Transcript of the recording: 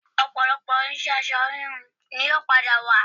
Ọ̀pọ̀lọpọ̀ irinṣẹ́ aṣọ híhun ni yóò padà wà